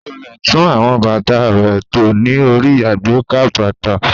Kò le tún àwọn bàtà rẹ̀ tò ní orí àgbékà bàtà.